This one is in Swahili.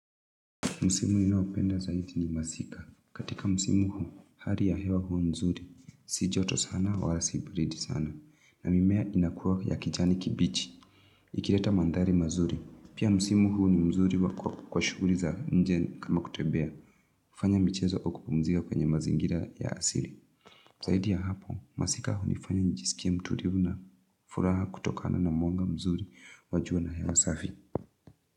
Msimu unaopendeza zaidi ni mazika. Katika musimu huu, hari ya hewa huu mzuri. Si joto sana, wala si baridi sana. Na mimea inakuwa ya kijani kibichi. Ikileta manthari mazuri. Pia msimu huu ni mzuri kwa shughuli za nje kama kutembea. Fanya michezo ukipumzika kwenye mazingira ya asili. Zaidi ya hapo, masika hunifanya nijisikie mtulivu na furaha kutokana na mwanga mzuri wa jua na hewa safi.